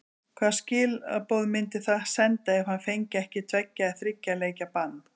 Hvaða skilaboð myndi það senda ef hann fengi ekki tveggja eða þriggja leikja bann?